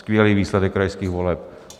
Skvělý výsledek krajských voleb!